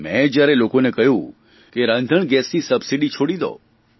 મેં જ્યારે લોકોને કહ્યું કે રાંધણગેસની સબસીડી છોડી દો